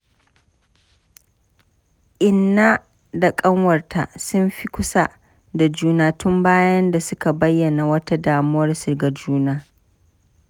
Inna da ƙanwarta sun fi kusa da juna tun bayan da suka bayyana wata damuwarsu ga juna.